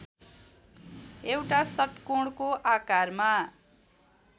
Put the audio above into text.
एउटा षट्कोणको आकारमा